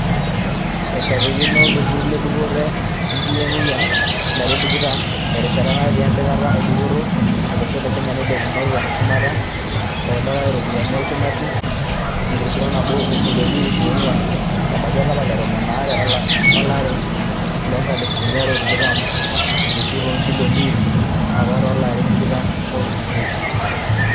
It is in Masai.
Eishapikino olturur le dupoto enkiyengiyeng (RBA) ilarin tikitam terishata natii empikata e dupoto olosho le Kenya enkilepunoto eshumata eitabaitia iropiyiani olchumati entirilioni naboo obilioni iip onguan ebaiki olapa le tomon aare lolare loonkalifuni are o tikitam elisu too ibilioni iip apaa too larin tikitam ootulusoitia.